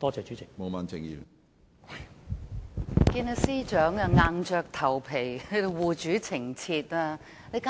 我看見司長在這裏硬着頭皮護主情切，簡